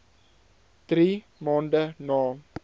drie maande na